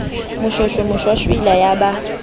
moshweshwe moshwashwaila ya e ba